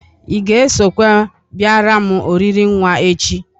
Ị ga-esokwa bịara m oriri nwa echi?